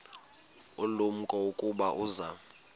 ulumko ukuba uza